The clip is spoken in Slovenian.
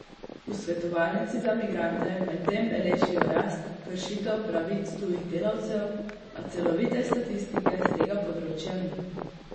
V Svetovalnici za migrante medtem beležijo rast kršitev pravic tujih delavcev, a celovite statistike s tega področja ni.